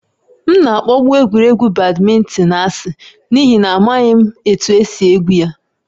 M na-akpọbu egwuregwu badminton asị n'ihi na amaghị m otú e si egwu ya